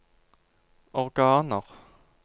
organer